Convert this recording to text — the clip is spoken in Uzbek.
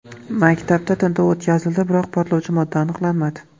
Maktabda tintuv o‘tkazildi, biroq portlovchi modda aniqlanmadi.